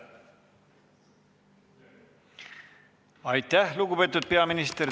Aitäh, lugupeetud peaminister!